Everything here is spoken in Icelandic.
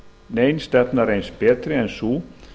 nein stefna reynst betri en sú